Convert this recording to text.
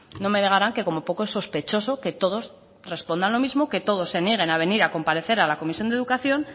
no me negaran que como poco sospechosos que todos respondan los mismo que todos se nieguen a venir a comparecer a la comisión de educación